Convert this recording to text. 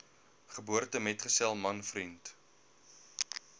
geboortemetgesel man vriend